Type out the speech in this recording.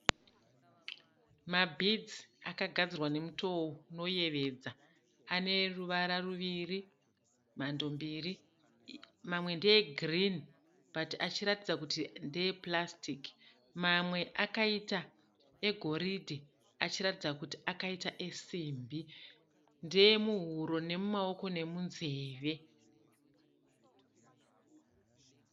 Mabhidzi akagadzirwa nemutowo unoyevedza. Ane ruvara ruviri, mando mbiri. Mamwe ndeyegirini bhati achiratidza kuti ndeye purasitiki, mamwe akaita egoridhe achiratidza kuti akaita esimbi. Ndeye muhuro, nemumaoko nemunzeve.